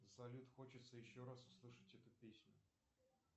салют хочется еще раз услышать эту песню